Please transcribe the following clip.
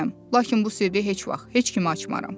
Lakin bu sirri heç vaxt heç kimə açmaram.